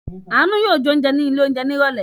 Àánú yóò jẹun ní ilé-oúnjẹ ní ìrọ́lẹ́!